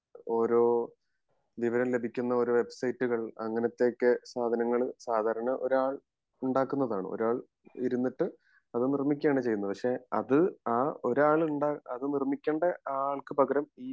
ഓരോ വിവരം ലഭിക്കുന്ന ഒരു വെബ്സൈറ്റുകൾ അങ്ങിനത്തെ ഒക്കെ സാധനങ്ങൾ സാധാരണ ഒരാൾ ഉണ്ടാകുന്നതാണ് ഒരാൾ ഒരാൾ ഇരുന്നിട്ട് അത് നിർമിക്കുവാന് ചെയ്യുന്നത് പക്ഷെ അത് ആ ഒരാൾ ഉണ്ട അത് നിർമിക്കണ്ട ആൾക്ക് പകരം